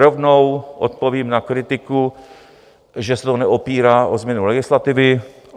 Rovnou odpovím na kritiku, že se to neopírá o změnu legislativy.